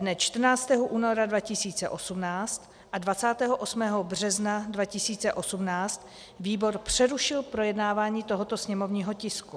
Dne 14. února 2018 a 28. března 2018 výbor přerušil projednávání tohoto sněmovního tisku.